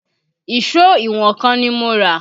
Ìṣó ìwọ̀n kan ni mo rà